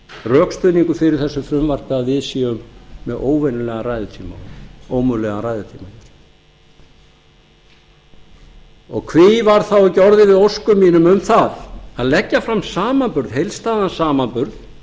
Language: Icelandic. rökstuðningur fyrir þessu frumvarpi að við séum með óvenjulegan ræðutíma ómögulegan ræðutíma hví var þá ekki orðið við óskum mínum um það að leggja fram samanburð heildstæðan samanburð